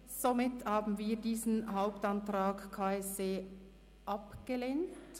Somit haben wir den Hauptantrag KSE Bern abgelehnt.